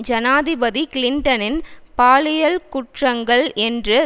ஜனாதிபதி கிளின்டனின் பாலியல் குற்றங்கள் என்று